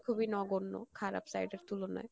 খুবই নগণ্য খারাপ side এর তুলনাই কারন